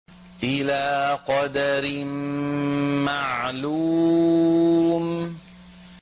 إِلَىٰ قَدَرٍ مَّعْلُومٍ